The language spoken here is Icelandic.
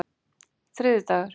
þriðjudagur